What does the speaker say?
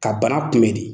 Ka bana kunbɛn de